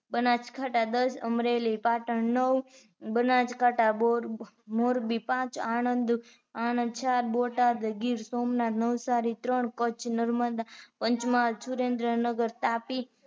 બનાસકાંઠા દસ, અમરેલી, પાટણ, નવ બનાસકાંઠા મોરબી પાંચ, આણદ ચાર બોટાદ, ગીર સોમનાથ નવસારી ત્રણ કચ્છ નર્મદા, પંચમહાલ, સુરેન્દ્રનગર તાપી